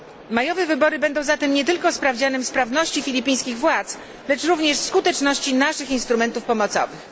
Majowe wybory będą zatem nie tylko sprawdzianem sprawności filipińskich władz, lecz również skuteczności naszych instrumentów pomocowych.